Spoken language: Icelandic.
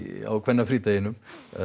á kvennafrídeginum